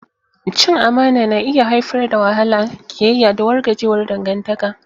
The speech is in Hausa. Cin amana na iya haifar da wahala, ƙiyayya, da wargajewar dangantaka.